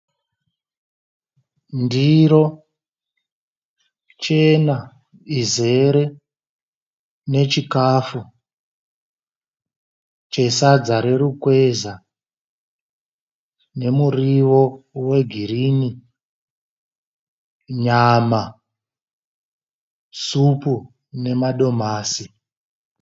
Ndiro chena izere nechikafu chesadza rerukweza ,nemuriwo wegirini, nyama, svupu nemadomasi.